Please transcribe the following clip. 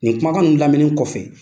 Nin kumakan ninnu lamɛnen kɔfɛ.